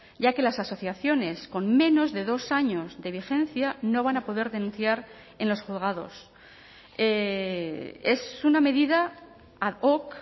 ya que las asociaciones con menos de dos años de vigencia no van a poder denunciar en los juzgados es una medida ad hoc